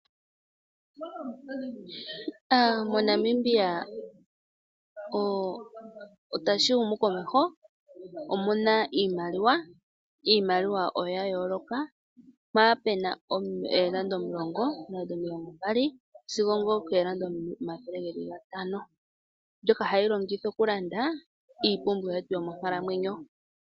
Namibia otashi humu komeho omuna iimaliwa ya yooloka mono muna oondola omulongo, omilongo mbali sigo oondola omayhele gaali mbyoka hatu longitha okulanda iipumbiwa yetu yomonkalamwenyo.